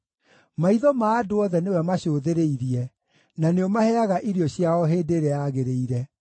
Maitho ma andũ othe nĩwe macũthĩrĩirie, na nĩũmaheaga irio ciao hĩndĩ ĩrĩa yagĩrĩire.